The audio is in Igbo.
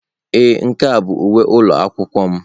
Ee, nke a bụ uwe ụlọ akwụkwọ m.